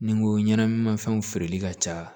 Ni n ko ɲɛnɛmafɛnw feereli ka ca